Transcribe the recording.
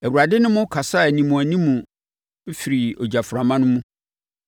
Awurade ne mo kasaa animuanimu firi ogyaframa no mu.